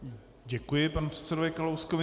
Děkuji panu předsedovi Kalouskovi.